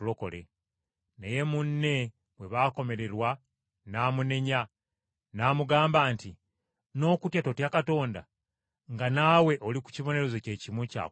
Naye munne bwe baakomererwa n’amunenya, n’amugamba nti, “N’okutya totya Katonda, nga naawe oli ku kibonerezo kye kimu kya kufa?